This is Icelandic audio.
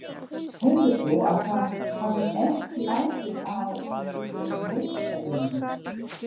Heldur þú að það hafi ekki áhrif á ykkar viðsemjendur?